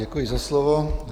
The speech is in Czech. Děkuji za slovo.